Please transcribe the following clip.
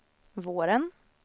våren